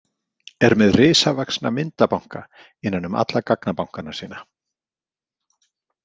Er með risavaxna myndabanka innan um alla gagnabankana sína.